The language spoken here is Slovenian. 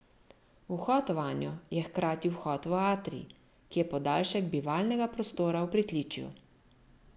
Vhod vanjo je hkrati vhod v atrij, ki je podaljšek bivalnega prostora v pritličju.